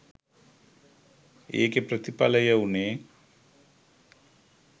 ඒකෙ ප්‍රතිඵලය වුණේ